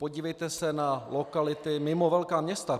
Podívejte se na lokality mimo velká města.